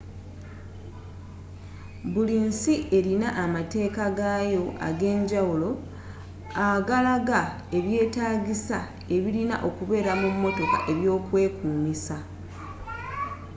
buli nsi erina amateeka gaayo agenjawulo aagalaga ebyeetagisa ebirina okubeera mu motoka ebyokwekuumisa